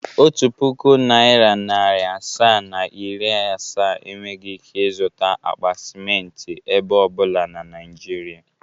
Otu pụkụ naira narị asaa, na iri asaa enweghi ike izụta akpa simenti ebe ọbụla na Naịjịrịa.